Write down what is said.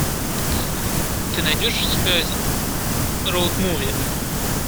ты найдешь у себя роуд муви